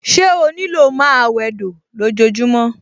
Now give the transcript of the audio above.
Ṣé ó ní lò máa wẹdò lójojúmọ́?